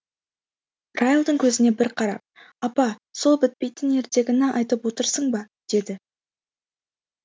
райлдың көзіне бір қарап апа сол бітпейтін ертегіні айтып отырсың ба деді